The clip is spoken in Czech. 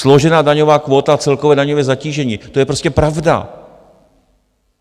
Složena daňová kvóta a celkové daňové zatížení - to je prostě pravda.